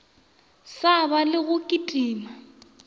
sa ba le go kitima